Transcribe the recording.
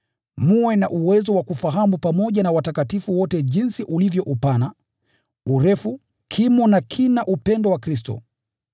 mwe na uwezo wa kufahamu pamoja na watakatifu wote jinsi ulivyo upana, urefu, kimo na kina upendo wa Kristo,